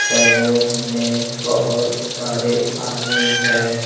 Salon में बहुत सारे आदमी हैं।